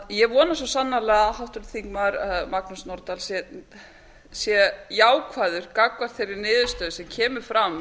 ég vona svo sannarlega að háttvirtir þingmenn magnús nordal sé jákvæður gagnvart þeirri niðurstöðu sem kemur fram